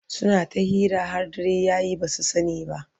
suna ta hira har dare yaye basu sani ba